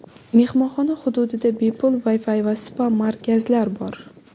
Mehmonxona hududida bepul Wi-Fi va spa-markazlar bor.